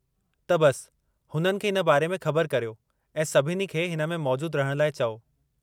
त, बसि हुननि खे हिन बारे में ख़बर करियो ऐं सभिनी खे हिन में मौजूदु रहण लाइ चओ।